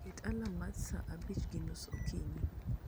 Ket alam mar sa 11:30 okinyi